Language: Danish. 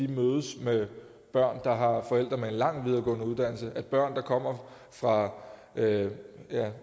mødes med børn der har forældre med en lang videregående uddannelse at børn der kommer fra ja